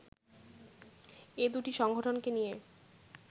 এ দুটি সংগঠনকে নিয়ে